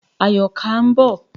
Àyọ̀ká ń bọ̀.